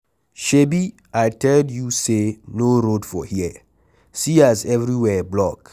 Shebi I tell you say no road for here, see as everywhere block.